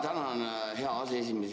Tänan, hea aseesimees!